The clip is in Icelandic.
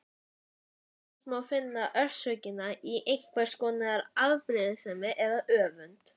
Oftast má finna orsökina í einhvers konar afbrýðisemi eða öfund.